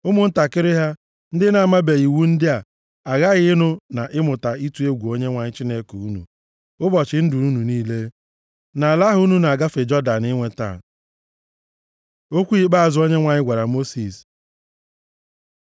Ụmụntakịrị ha, ndị na-amabeghị iwu ndị a, aghaghị ịnụ na ịmụta ịtụ egwu Onyenwe anyị Chineke unu, ụbọchị ndụ unu niile nʼala ahụ unu na-agafe Jọdan inweta.” Okwu ikpeazụ Onyenwe anyị gwara Mosis